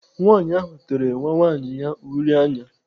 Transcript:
Nwaanyị ahụ tere nwa nwaanyị ya uri anya.